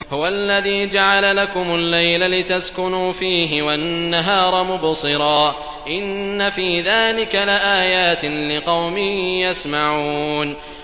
هُوَ الَّذِي جَعَلَ لَكُمُ اللَّيْلَ لِتَسْكُنُوا فِيهِ وَالنَّهَارَ مُبْصِرًا ۚ إِنَّ فِي ذَٰلِكَ لَآيَاتٍ لِّقَوْمٍ يَسْمَعُونَ